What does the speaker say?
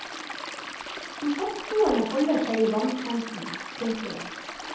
De fastboende holder seg i vannkanten. punktum